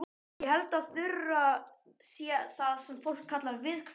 Ég held að Þura sé það sem fólk kallar viðkvæm.